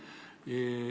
Aga aitäh küsimuse eest!